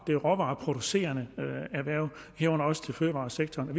det råvareproducerende erhverv herunder også fødevaresektoren